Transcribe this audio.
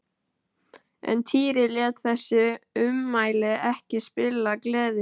En Týri lét þessi ummæli ekki spilla gleði sinni.